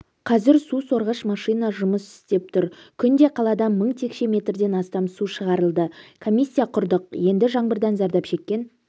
қазір су сорғыш машина жұмыс істеп тұр күнде қаладан мың текше метрден астам су шығырылды комиссия құрдық енді жаңбырдан зардап шеккен